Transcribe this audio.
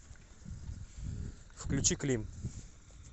включи клим